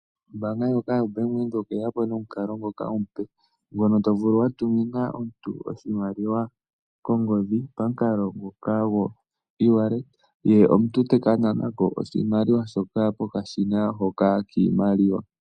Ombaanga ndjoka yoBank Windhoek oye ya po nomukalo ngoka omupe, ngono to vulu wa tumina omuntu oshimaliwa kongodhi pamukalo ngoka goewallet ye omuntu ta ka nana ko oshimaliwa shoka pokashina hoka kiimaliwa.